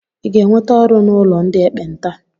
Ịga-enweta ọrụ n'ụlọ ndị ekpenta?